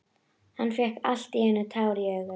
Hann fékk allt í einu tár í augun.